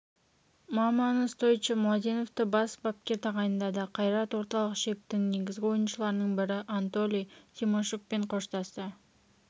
маманы стойчо младеновті бас бапкер тағайындады қайрат орталық шептің негізгі ойыншыларының бірі анатолий тимощукпен қоштасты